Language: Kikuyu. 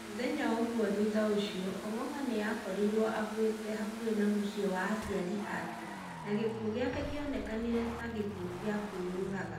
Mũthenya ũmwe thutha ũcio, Ong’ong’a nĩ akorirwo akuĩte hakuhĩ na mũciĩ wa aciarĩ ake, na gĩkuũ gĩake kĩonekanire ta gĩa kwĩyũraga.